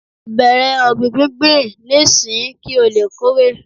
bẹrẹ ọgbin gbingbin n'isin ki o le Kore